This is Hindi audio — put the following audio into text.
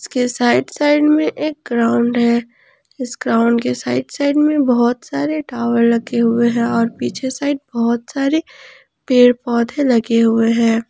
के साइड साइड में एक ग्राउंड है इस ग्राउंड के साइड साइड में बहोत सारे टावर लगे हुए हैं और पीछे साइड बहोत सारे पेड़ पौधे लगे हुए हैं।